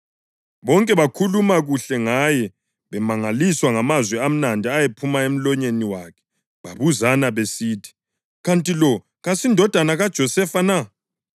Bonke bakhuluma kuhle ngaye bemangaliswa ngamazwi amnandi ayephuma emlonyeni wakhe. Babuzana besithi, “Kanti lo kasindodana kaJosefa na?”